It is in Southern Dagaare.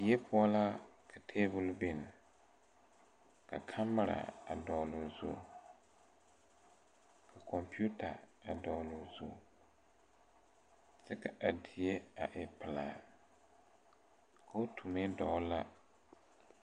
Die poɔ la ka tabol bin ka kamira a dɔgloo zu ka kɔmpiuta a dɔgloo zu kyɛ ka a die a e pelaa kootu meŋ dɔgle la.